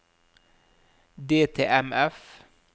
DTMF